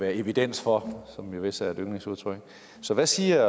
være evidens for som vist er et yndlingsudtryk så hvad siger